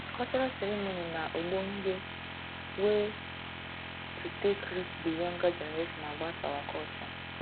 cultural ceremony na ogbonge wey to take reach di younger generation about our culture